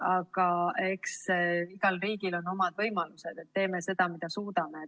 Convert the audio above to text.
Aga eks igal riigil ole omad võimalused ja me teeme seda, mida suudame.